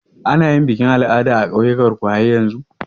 Ana yin bikin al'ada a ƙauyan ku har yanzu?